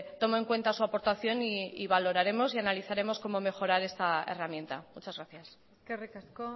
tomo en cuenta su aportación y valoraremos y analizaremos como mejorar esta herramienta muchas gracias eskerrik asko